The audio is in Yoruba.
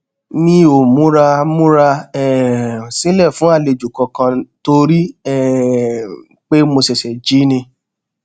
mi o mura mura um silẹ fun alejo kankan tori um pe mo ṣẹṣẹ ji ni